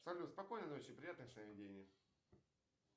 салют спокойной ночи приятных сновидений